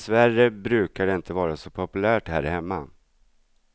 Dessvärre brukar det inte vara så populärt här hemma.